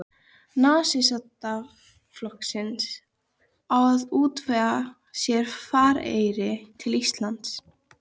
Nasistaflokksins, á að útvega sér farareyri til Íslands.